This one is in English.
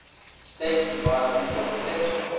states environmental protection